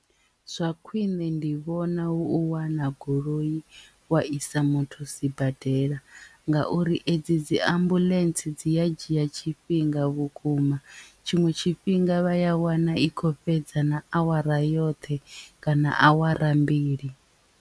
Zwa khwiṋe ndi vhona hu u wana goloi wa isa muthu sibadela ngauri edzi dzi ambuḽentse dzi a dzhia tshifhinga vhukuma tshiṅwe tshifhinga vha ya wana i khou fhedza na awara yoṱhe kana awara mbili.